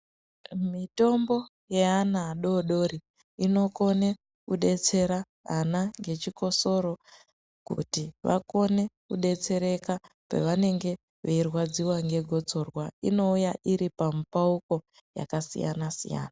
Mitombo yeana adodori inokone kudetsera ana ngechikisoro kuti akone kudetsereka pevanenge veirwadziwa ngegotsorwa inouya iri pamupauko yakasiyana siyana.